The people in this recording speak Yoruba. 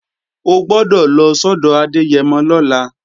O gbọ́dọ̀ lọ sọ́dọ̀ Adẹ́yẹmọ lọ́la!